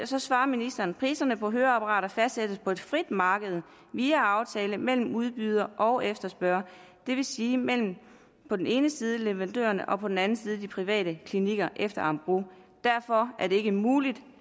så svarer ministeren priserne på høreapparater fastsættes på et frit marked via aftale mellem udbyder og efterspørger det vil sige mellem på den ene side leverandørerne og på den anden side de private klinikker eller amgros derfor er det ikke muligt